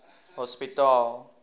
hospitaal